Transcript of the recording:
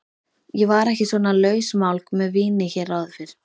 Ég var ekki svona lausmálg með víni hér áður fyrr.